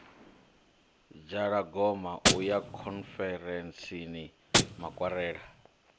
dzhalagoma u ya khonferentsini makwarela